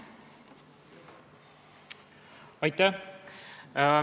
Aitäh!